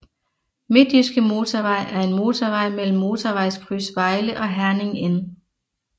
Midtjyske Motorvej er en motorvej mellem Motorvejskryds Vejle og Herning N